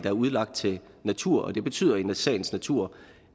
er udlagt til natur og det betyder i sagens natur